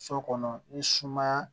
So kɔnɔ ni sumaya